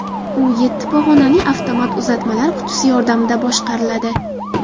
U yetti pog‘onali avtomat uzatmalar qutisi yordamida boshqariladi.